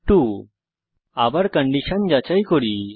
আমরা আবার কন্ডিশন যাচাই করি